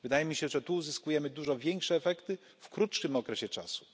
Wydaje mi się, że tu uzyskujemy dużo większe efekty w krótszym okresie czasu.